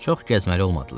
Çox gəzməli olmadılar.